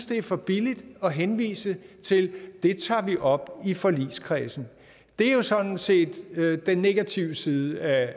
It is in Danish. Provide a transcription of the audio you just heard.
det er for billigt at henvise til det tager vi op i forligskredsen det er jo sådan set den negative side af